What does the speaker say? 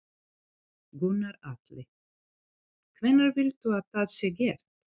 Gunnar Atli: Hvenær vilt þú að það sé gert?